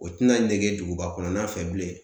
O te na nege duguba kɔnɔna fɛ bilen.